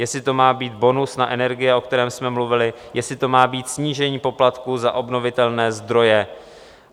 Jestli to má být bonus na energie, o kterém jsme mluvili, jestli to má být snížení poplatku za obnovitelné zdroje.